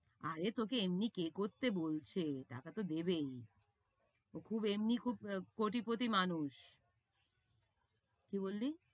আরে তোকে এমনি কে করতে বলছে, টাকা তো দেবেই। ও খুব এমনি খুব কোটিপতি মানুষ। কি বললি?